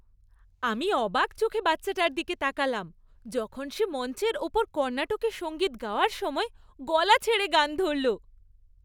আমি অবাক চোখে বাচ্চাটার দিকে তাকালাম যখন সে মঞ্চের ওপর কর্ণাটকী সঙ্গীত গাওয়ার সময় গলা ছেড়ে গান ধরল।